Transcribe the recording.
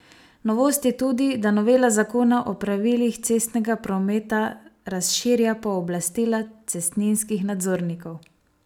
Novost je tudi, da novela zakona o pravilih cestnega prometa razširja pooblastila cestninskih nadzornikov.